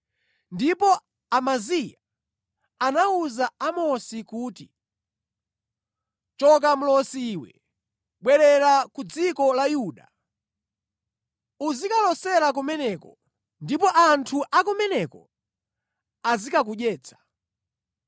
Ndipo Amaziya anawuza Amosi kuti, “Choka, mlosi iwe! Bwerera ku dziko la Yuda. Uzikalosera kumeneko ndipo anthu a kumeneko azikakudyetsa.